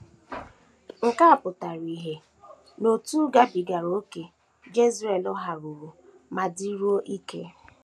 Nke a pụtara ìhè n’otú gabigara ókè Jezreel haruru ma dịruo ike.